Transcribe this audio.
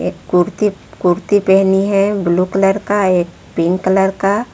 कुर्ती कुर्ती पहनी है blue colour का एक पिंक कलर का।